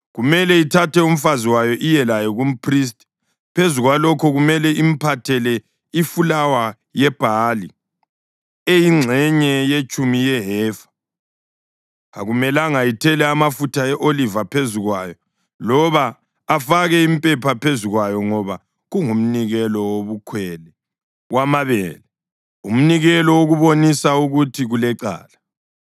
kumele ithathe umfazi wayo iye laye kumphristi. Phezu kwalokho kumele imphathele ifulawa yebhali eyingxenye yetshumi yehefa. Akumelanga ithele amafutha e-oliva phezu kwayo loba afake impepha phezu kwayo ngoba kungumnikelo wobukhwele wamabele, umnikelo wokubonisa ukuthi kulecala.